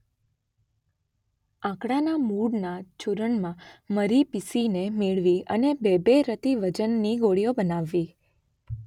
આંકડાના મૂળના ચૂર્ણમાં મરી પીસીને મેળવી અને બે-બે રતી વજનની ગોળીઓ બનાવવી.